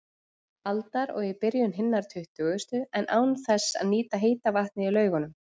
aldar og í byrjun hinnar tuttugustu, en án þess að nýta heita vatnið í Laugunum.